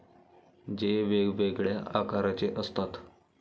जे वेगवेगळ्या आकाराचे असतात.